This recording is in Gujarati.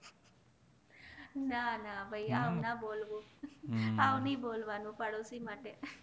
ના ના ભાઈ આવું ના બોલવું આવું ની બોલવાનું પાડોસી માટે